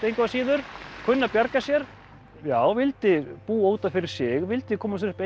engu að síður kunni að bjarga sér já vildi búa út af fyrir sig vildi koma sér upp